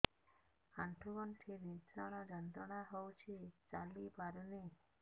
ଆଣ୍ଠୁ ଗଣ୍ଠି ଭିଷଣ ଯନ୍ତ୍ରଣା ହଉଛି ଚାଲି ପାରୁନି